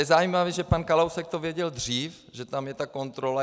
Je zajímavé, že pan Kalousek to věděl dřív, že tam je ta kontrola.